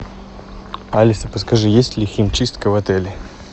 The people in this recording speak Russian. алиса подскажи есть ли химчистка в отеле